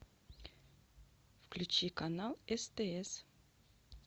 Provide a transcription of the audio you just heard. включи канал стс